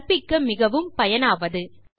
கற்பிக்க மிகவும் பயனாவது